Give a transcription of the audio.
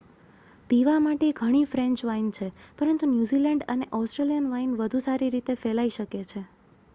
પીવા માટે ઘણી ફ્રેન્ચ વાઇન છે પરંતુ ન્યૂઝીલેન્ડ અને ઓસ્ટ્રેલિયન વાઇન વધુ સારી રીતે ફેલાઈ શકે છે